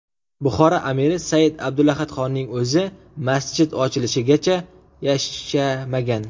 Buxoro amiri Said Abdulahadxonning o‘zi masjid ochilishigacha yashamagan.